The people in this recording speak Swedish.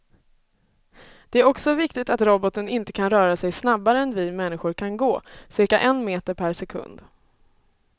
Det är också viktigt att roboten inte kan röra sig snabbare än vi människor kan gå, cirka en meter per sekund.